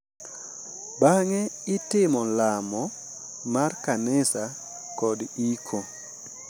Bang’e itimo lamo mar kanisa kod iko.